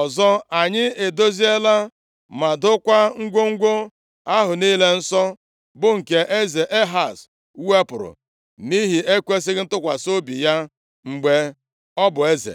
Ọzọ, anyị edoziela ma dokwaa ngwongwo ahụ niile nsọ, bụ nke eze Ehaz wepụrụ nʼihi ekwesighị ntụkwasị obi ya mgbe ọ bụ eze.